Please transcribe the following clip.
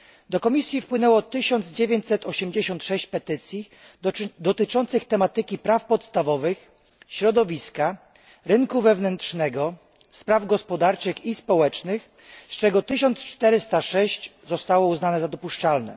Do komisji wpłynęło 1986 petycji dotyczących praw podstawowych, środowiska, rynku wewnętrznego, spraw gospodarczych i społecznych, z czego 1406 zostało uznanych za dopuszczalne.